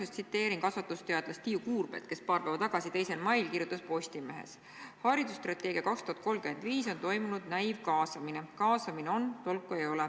Ma tsiteerin küsimuse alguses kasvatusteadlast Tiiu Kuurmet, kes paar päeva tagasi, 2. mail kirjutas Postimehes, et haridusstrateegias 2035 on toimunud näivkaasamine: "Kaasamine on, tolku ei ole.